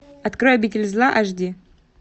открой обитель зла аш ди